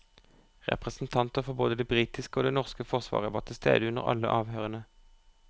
Representanter for både det britiske og det norske forsvaret var tilstede under alle avhørene.